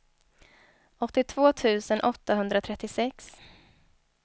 åttiotvå tusen åttahundratrettiosex